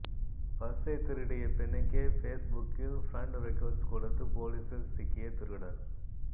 பர்ஸை திருடிய பெண்ணுக்கே ஃபேஸ்புக்கில் ஃபிரெண்ட் ரிக்வெஸ்ட் கொடுத்து போலீசில் சிக்கிய திருடன்